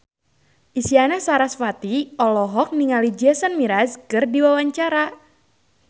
Isyana Sarasvati olohok ningali Jason Mraz keur diwawancara